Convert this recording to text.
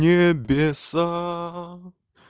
небеса